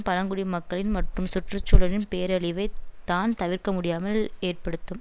பழங்குடி மக்களின் மற்றும் சுற்றுச்சூழலின் பேரழிவை தான் தவிர்க்கமுடியாமல் ஏற்படுத்தும்